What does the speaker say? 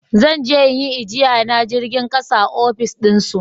Zan je in yi ajiya na jirgin ƙasa a ofis din su